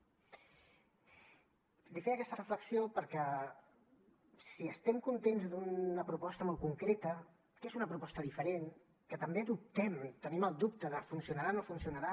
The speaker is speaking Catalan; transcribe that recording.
li feia aquesta reflexió perquè si estem contents d’una proposta molt concreta que és una proposta diferent que també dubtem tenim el dubte de funcionarà o no funcionarà